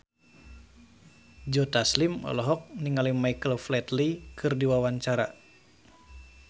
Joe Taslim olohok ningali Michael Flatley keur diwawancara